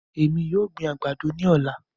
Èmi yóò gbin àgbàdo ní ọ̀la.